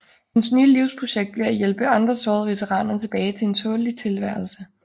Hans nye livsprojekt bliver at hjælpe andre sårede veteraner tilbage til en tålelig tilværelse